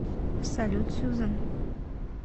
салют сюзан